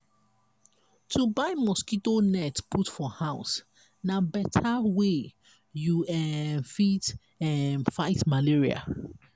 to buy mosquito net put for house na beta way you um fit um fit fight malaria.